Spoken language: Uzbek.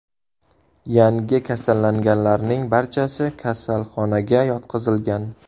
Yangi kasallanganlarning barchasi kasalxonaga yotqizilgan.